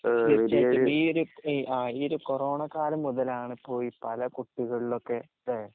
ചക്‌ബീര് ഇആഈയൊരുകോറോണക്കാലംമുതലാണിപ്പൊ ഇപലകുട്ടികളിലൊക്കെ ല്ലേ?